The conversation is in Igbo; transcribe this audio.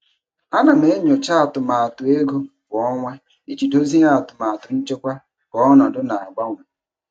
Ana m enyocha atụmatụ ego kwa ọnwa iji dozie atụmatụ nchekwa ka ọnọdụ na-agbanwe.